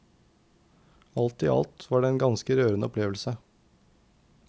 Alt i alt var det en ganske rørende opplevelse.